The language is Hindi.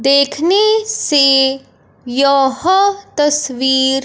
देखने से यह तस्वीर--